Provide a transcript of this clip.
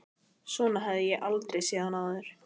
Svona hafði ég aldrei séð hann áður.